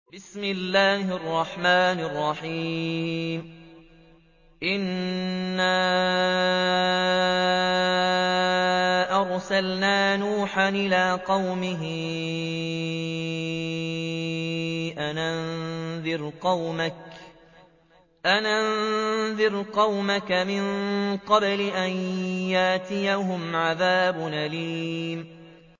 إِنَّا أَرْسَلْنَا نُوحًا إِلَىٰ قَوْمِهِ أَنْ أَنذِرْ قَوْمَكَ مِن قَبْلِ أَن يَأْتِيَهُمْ عَذَابٌ أَلِيمٌ